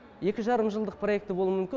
екі жарым жылдық проекті болуы мүмкін